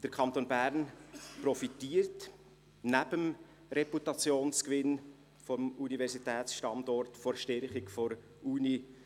Der Kanton Bern profitiert neben dem Reputationsgewinn des Universitätsstandorts von der Stärkung der Universität.